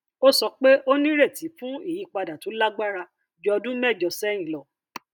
ó sọ pé ó nírètí fún ìyípadà tó lágbára ju ọdún mẹjọ sẹhìn lọ